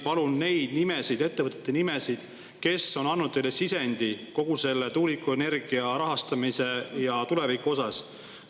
Palun neid nimesid, nende ettevõtete nimesid, kes on andnud teile sisendi kogu selle tuulikuenergia rahastamise ja tuleviku osas.